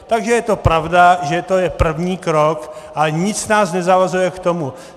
Takže je to pravda, že to je první krok, ale nic nás nezavazuje k tomu.